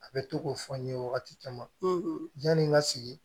A bɛ to k'o fɔ n ye wagati caman ka sigi